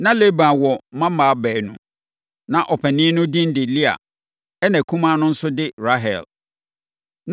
Na Laban wɔ mmammaa baanu. Na ɔpanin no din de Lea ɛnna akumaa no nso de Rahel.